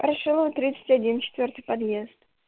ворошилова тридцать один четвёртый подъезд